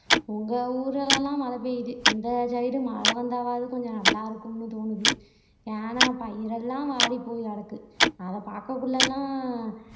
உங்க ஊர்ல எல்லாம் மழை பெய்யுது இந்த side உ மழை வந்தாலாவது கொஞ்சம் நல்லா இருக்கும்னு தோணுது ஏன்னா பயிர் எல்லாம் வாடி போய் கிடக்கு அதை பாக்கக்குள்ள எல்லாம் அஹ்